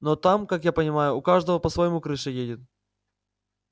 но там как я понимаю у каждого по-своему крыша едет